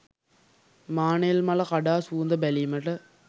මානෙල් මල කඩා සුවඳ බැලීමට